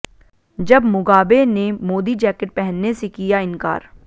जब मुगाबे ने मोदी जैकेट पहनने से किया इनकार